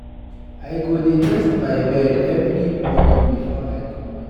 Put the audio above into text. I go dey dress my bed every morning before I comot.